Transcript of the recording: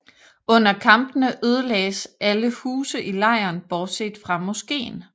Under kampene ødelagdes alle huse i lejren bortset fra moskén